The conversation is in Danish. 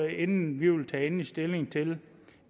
inden vi tager endelig stilling til